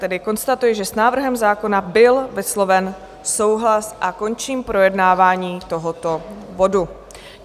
Tedy konstatuji, že s návrhem zákona byl vysloven souhlas, a končím projednávání tohoto bodu.